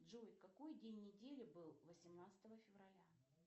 джой какой день недели был восемнадцатого февраля